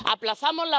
Aplazamos